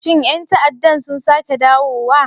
Shin 'yan ta'addan sun sake dawowa?